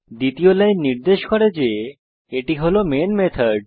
দ্বিতীয় লাইন নির্দেশ করে যে এটি হল মেইন মেথড